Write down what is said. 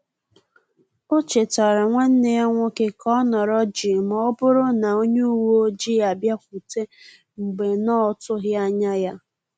O chetara nwanneya nwoke ka ọ nọrọ jii ma ọ bụrụ na onye uwe ọjị abịakwute mgbe na-otughi anya ya